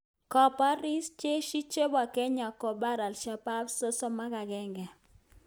Kaporis Jeshi chepo Kenya kopar Ashabaab 31